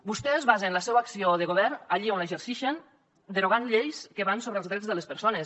vostès basen la seua acció de govern allí on l’exercixen derogant lleis que van sobre els drets de les persones